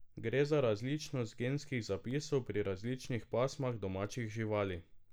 Gre za različnost genskih zapisov pri različnih pasmah domačih živali.